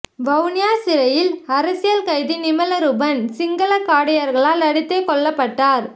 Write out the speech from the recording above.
வவுனியா சிறையில் அரசியல் கைதி நிமலரூபன் சிங்கள காடையர்களால் அடித்தே கொல்லப்பட்டார்